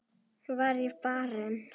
Var ég barinn?